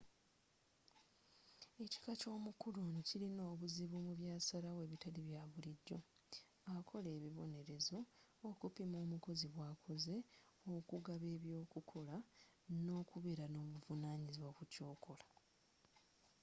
ekika ky'omukulu ono kirina obuzibu mu byasalawo ebitali bya bulijjo akola ebibonerezo okupima omukozi bwakoze okugaba eby'okukola n'okubeera n'obuvunanyizibwa ku kyokola